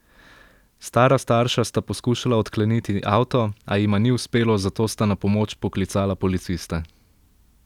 Stara starša sta poskušala odkleniti avto, a jima ni uspelo, zato sta na pomoč poklicala policiste.